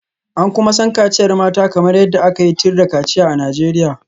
An kuma san kaciyar mata kamar yadda aka yi tir da kaciya a Najeriya.